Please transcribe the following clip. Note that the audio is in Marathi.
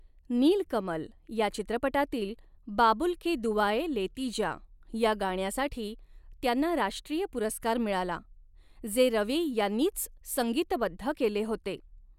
'नीलकमल' या चित्रपटातील 'बाबुल की दुआएँ लेती जा' या गाण्यासाठी त्यांना राष्ट्रीय पुरस्कार मिळाला, जे रवी यांनीच संगीतबद्ध केले होते.